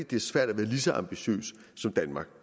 det er svært at være lige så ambitiøs som danmark